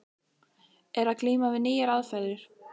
Er að glíma við nýjar aðferðir.